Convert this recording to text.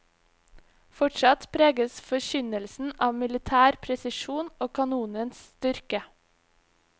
Fortsatt preges forkynnelsen av militær presisjon og kanonens styrke.